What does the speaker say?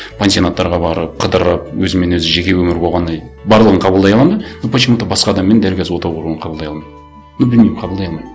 пансионаттарға барып қыдырып өзімен өзі жеке өмірі болғаны барлығын қабылдай аламын да но почему то басқа адаммен дәл қазір отау құруын қабылдай алмаймын ну білмеймін қабылдай алмаймын